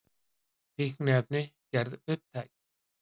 Fíkniefni gerð upptæk